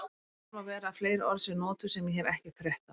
Vel má vera að fleiri orð séu notuð sem ég hef ekki frétt af.